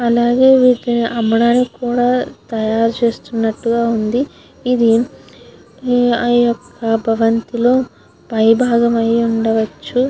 అలాగే వీటిని అమ్మడానికి కూడా తాయారు చేస్తునాటు గ వుంది. ఇది ఆయొక్క భవంతి లో పై భాగమై ఉండవచు.